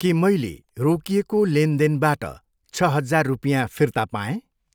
के मैले रोकिएको लेनदेनबाट छ हजार रुपियाँ फिर्ता पाएँ?